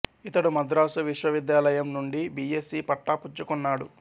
ఇతడు మద్రాసు విశ్వవిద్యాలయం నుండి బి ఎస్సీ పట్టా పుచ్చుకున్నాడు